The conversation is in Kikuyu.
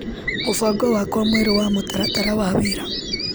Mũbango wakwa mwerũ wa mũtaratara wa wĩra.